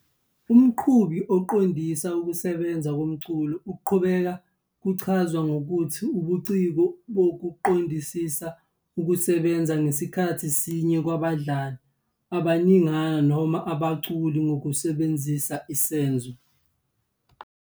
Umqhubi uqondisa ukusebenza komculo, ukuqhuba kuchazwe ngokuthi "ubuciko bokuqondisa ukusebenza ngasikhathi sinye kwabadlali abaningana noma abaculi ngokusebenzisa isenzo."